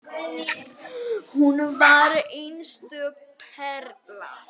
Hún var einstök perla.